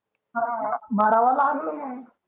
हां भरावा लागलं मंग